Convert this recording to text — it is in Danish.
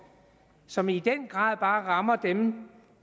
som i den grad bare rammer dem